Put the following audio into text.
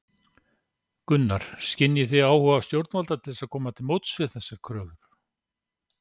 Gunnar: Skynjið þið áhuga stjórnvalda til þess að koma til móts við þessar kröfur?